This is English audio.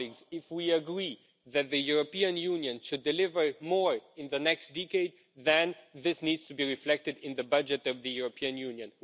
If we agree that the European Union should deliver more in the next decade, then this needs to be reflected in the budget of the European Union.